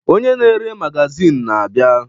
Onye na-ere magazịn na-abịa.